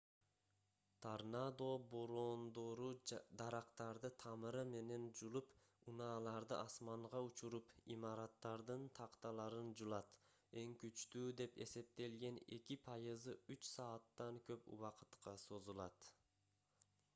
торнадо бороондору дарактарды тамыры менен жулуп унааларды асманга учуруп имараттардын такталарын жулат эң күчтүү деп эсептелген эки пайызы үч сааттан көп убакытка созулат